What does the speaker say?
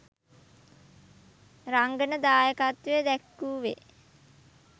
රංගන දායකත්වය දැක්වුවේ